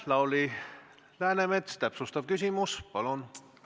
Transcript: Lauri Läänemets, täpsustav küsimus, palun!